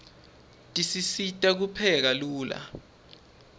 tisisita kupheka lula